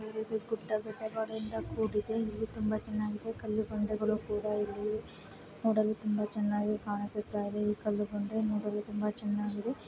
ಇದು ಬೆಟ್ಟಗುಡ್ಡ ಕಾಡುಗಳಿಂದ ಕೂಡಿದೆ ಇದು ತುಂಬಾ ಚೆನ್ನಾಗಿದೆ. ಕಲ್ಲುಬಂಡೆಗಳು ಕೂಡ ಇಲ್ಲಿ ನೋಡಲು ತುಂಬಾ ಚೆನ್ನಾಗಿ ಕಾಣುತ್ತಿದೆ ಈ ಕಲ್ಲು ಬಂಡೆ ನೋಡಲು ತುಂಬಾ ಚೆನ್ನಾಗಿದೆ.